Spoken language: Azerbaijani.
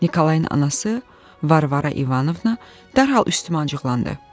Nikolayın anası Varvara İvanovna dərhal üstümə cıqlandı.